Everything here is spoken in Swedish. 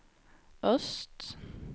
öst